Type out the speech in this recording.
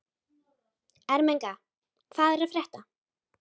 Ermenga, hvað er að frétta?